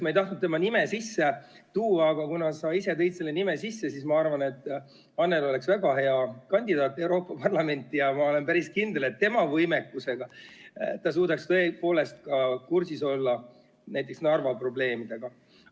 Ma ei tahtnud tema nime sisse tuua, aga kuna sa ise tõid tema nime sisse, siis ma arvan, et Annely oleks väga hea kandidaat Euroopa Parlamenti ja ma olen päris kindel, et tema oma võimekusega suudaks tõepoolest olla kursis ka näiteks Narva probleemidega.